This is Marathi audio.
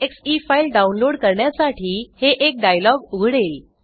एक्से फाइल डाउन लोड करण्यासाठी हे एक डायलॉग उघडेल